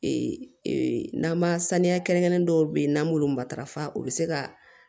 Ee n'an ma saniya kɛrɛnkɛrɛnnen dɔw be yen n'an b'olu matarafa u bi se ka